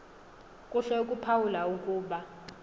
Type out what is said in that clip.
kuhle ukuphawula ukuba